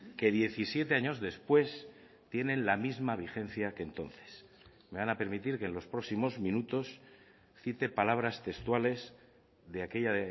que diecisiete años después tienen la misma vigencia que entonces me van a permitir que en los próximos minutos cite palabras textuales de aquella